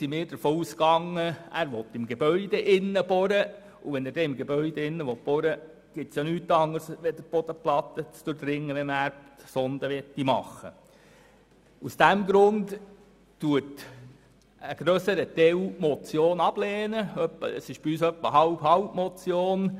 Deshalb sind wir davon ausgegangen, dass Daniel Trüssel innerhalb des Gebäudes bohren will, und innerhalb des Gebäudes für eine Erdsonde zu bohren bedeutet nichts anderes, als die Bodenplatte zu durchdringen.